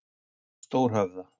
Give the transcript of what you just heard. Stórhöfða